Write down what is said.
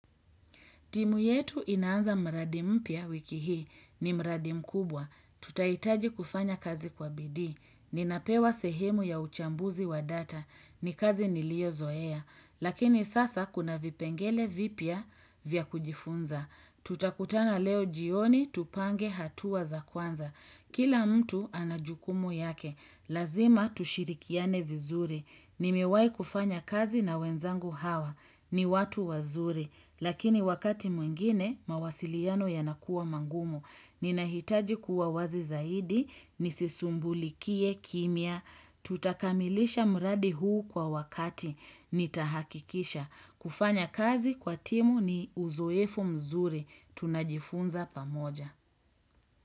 Timu yetu inaanza mradi mpya wiki hii. Ni mradi mkubwa. Tutahitaji kufanya kazi kwa bidii. Ninapewa sehemu ya uchambuzi wa data. Ni kazi niliyozoea. Lakini sasa kuna vipengele vipya vya kujifunza. Tutakutana leo jioni, tupange hatua za kwanza. Kila mtu ana jukumu yake. Lazima tushirikiane vizuri. Nimewai kufanya kazi na wenzangu hawa. Ni watu wazuri. Lakini wakati mwingine, mawasiliano yanakuwa magumu. Ninahitaji kuwa wazi zaidi, nisisumbulikie kimya. Tutakamilisha mradi huu kwa wakati nitahakikisha kufanya kazi kwa timu ni uzoefu mzuri tunajifunza pamoja.